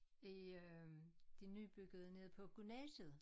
I øh det nybyggede nede på gymnasiet